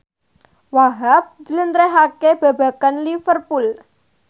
Wahhab njlentrehake babagan Liverpool